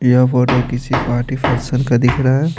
यह फोटो किसी पार्टी फसस्न का दिख रहा है।